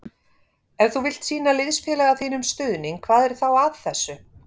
Ef þú vilt sýna liðsfélaga þínum stuðning hvað er þá að þessu?